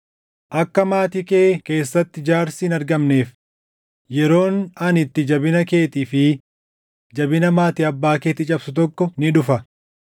Akka maatii kee keessatti jaarsi hin argamneef, yeroon ani itti jabina keetii fi jabina maatii abbaa keetii cabsu tokko ni dhufa;